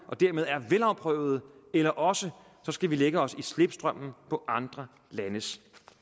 og dermed er velafprøvede eller også skal vi lægge os i slipstrømmen på andre landes